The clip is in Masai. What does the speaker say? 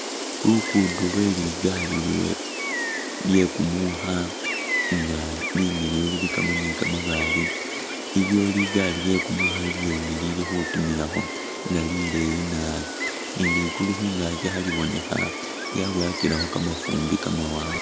Luguddo lwe ligali lwe lyekumukha nga limiliyu lilikamo ni kamabaale iliwo ligali lyekumukha ilyene lilikhutimilakho nga lileyi naabi ni ligulu khungaaki khaliibonekha lyabowakilekho kamafumbi kamawanga